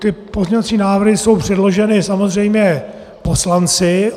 Ty pozměňovací návrhy jsou předloženy samozřejmě poslanci.